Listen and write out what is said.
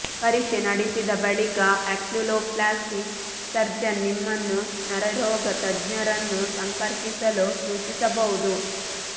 ಪರೀಕ್ಷೆ ನಡೆಸಿದ ಬಳಿಕ ಆಕ್ಯುಲೋಪ್ಲಾಸ್ಟಿ ಸರ್ಜನ್ ನಿಮ್ಮನ್ನು ನರರೋಗ ತಜ್ಞರನ್ನು ಸಂಪರ್ಕಿಸಲು ಸೂಚಿಸಬಹುದು